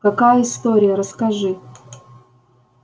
какая история расскажи